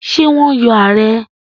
Ṣé wọ́n yọ ààrẹ́?